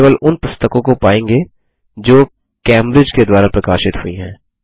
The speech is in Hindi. हम केवल उन पुस्तकों को पायेंगे जो कैम्ब्रिज के द्वारा प्रकाशित हुई हैं